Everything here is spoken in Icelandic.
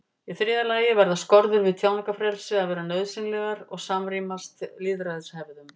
Í þriðja lagi verða skorður við tjáningarfrelsi að vera nauðsynlegar og samrýmast lýðræðishefðum.